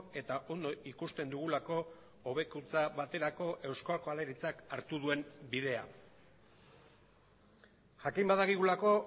eta ondo ikusten dugulako hobekuntza baterako eusko jaurlaritzak hartu duen bidea jakin badakigulako